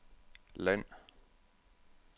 land